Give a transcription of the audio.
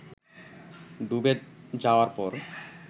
ডুবে যাওয়ার পর